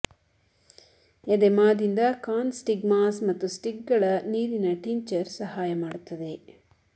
ಎದೆಮಾದಿಂದ corn stigmas ಮತ್ತು ಸ್ಟಿಕ್ಗಳ ನೀರಿನ ಟಿಂಚರ್ ಸಹಾಯ ಮಾಡುತ್ತದೆ